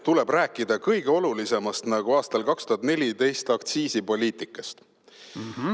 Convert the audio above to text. Tuleb rääkida kõige olulisemast, nagu sa aastal 2014 rääkisid aktsiisipoliitikast.